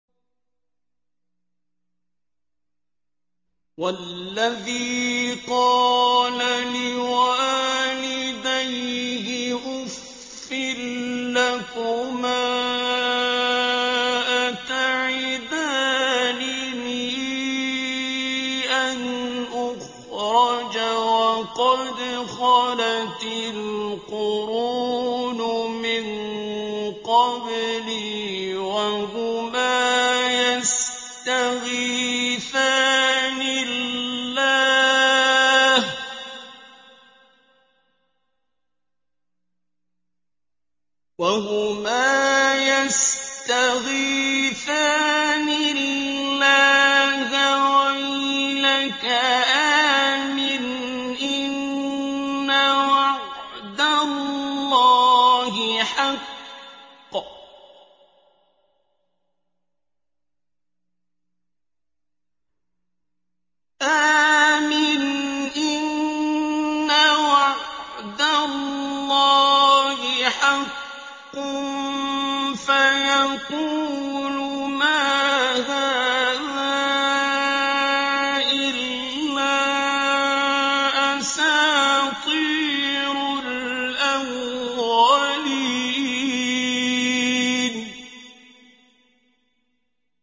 وَالَّذِي قَالَ لِوَالِدَيْهِ أُفٍّ لَّكُمَا أَتَعِدَانِنِي أَنْ أُخْرَجَ وَقَدْ خَلَتِ الْقُرُونُ مِن قَبْلِي وَهُمَا يَسْتَغِيثَانِ اللَّهَ وَيْلَكَ آمِنْ إِنَّ وَعْدَ اللَّهِ حَقٌّ فَيَقُولُ مَا هَٰذَا إِلَّا أَسَاطِيرُ الْأَوَّلِينَ